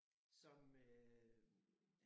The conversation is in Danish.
Som øh